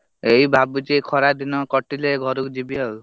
ଏଇ ଭାବୁଛି ଏଇ ଖରାଦିନ କଟିଲେ ଘରକୁ ଯିବି ଆଉ।